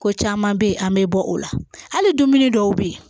Ko caman bɛ yen an bɛ bɔ o la hali dumuni dɔw bɛ yen